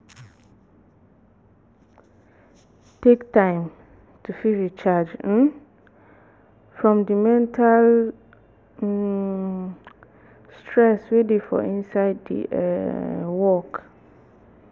take time to fit recharge um from di mental um stress wey dey for inside di um work